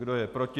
Kdo je proti?